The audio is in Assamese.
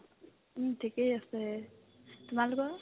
উম্, ঠিকে আছে তোমালোকৰ ?